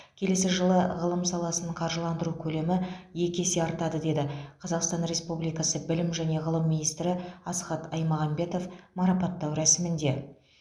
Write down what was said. келесі жылы ғылым саласын қаржыландыру көлемі екі есе артады деді қазақстан республикасы білім және ғылым министрі асхат аймағамбетов марапаттау рәсімінде